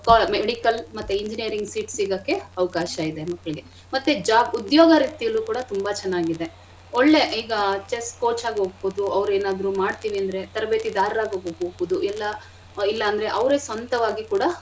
Medical ಮತ್ತೆ engineering seat ಸಿಗಕ್ಕೆ ಅವ್ಕಾಶ ಇದೆ. ಮಕ್ಳಿಗೆ ಮತ್ತೆ job ಉದ್ಯೋಗ ರೀತಿಯಲ್ಲೂ ಕೂಡ ತುಂಬಾ ಚೆನ್ನಾಗಿದೆ ಒಳ್ಳೆ ಈಗ chess coach ಆಗಿ ಹೋಗ್ಬೋದು ಅವ್ರು ಏನಾದ್ರೂ ಮಾಡ್ತಿವಿ ಅಂದ್ರೆ ತರಬೇತಿದಾರರಾಗಿ ಹೋಗ್ಬೋದು ಇಲ್ಲ ಇಲ್ಲ ಅಂದ್ರೆ ಅವರೇ ಸ್ವಂತವಾಗಿ ಕೂಡ.